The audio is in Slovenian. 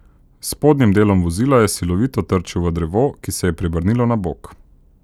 S spodnjim delom vozila je silovito trčil v drevo, ki se je prevrnilo na bok.